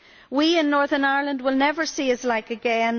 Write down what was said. We in Northern Ireland will never see his like again